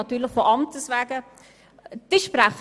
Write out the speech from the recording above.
Und sie ist natürlich von Amtes wegen dort.